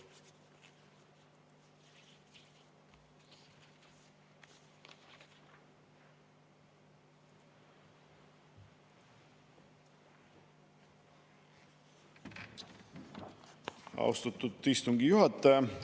Austatud istungi juhataja!